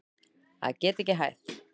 Að geta ekki hætt